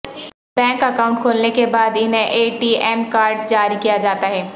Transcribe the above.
bank account کھولنے کے بعد انہیں اے ٹی ایم کارڈ جاری کیاجاتا ہے